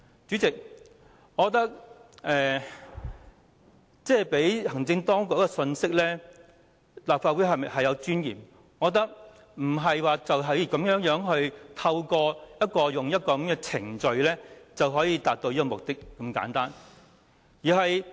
主席，我覺得向行政當局發放立法會有尊嚴這信息，並非透過簡單的程序就可以達到目的。